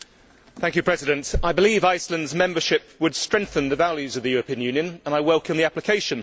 Madam President, I believe Iceland's membership would strengthen the values of the European Union and I welcome the application.